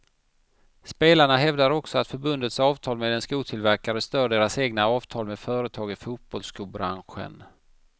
Spelarna hävdar också att förbundets avtal med en skotillverkare stör deras egna avtal med företag i fotbollsskobranschen.